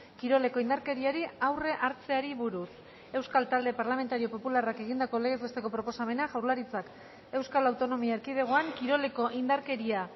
kiroleko indarkeriari aurre hartzeari buruz euskal talde parlamentario popularrak egindako legez besteko proposamena jaurlaritzak euskal autonomia erkidegoan kiroleko indarkeria